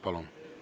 Palun!